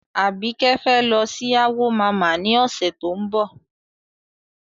Àbíkẹ́ fẹ́ lọ sí Awo mama ní ọ̀sẹ̀ tó ń bọ̀.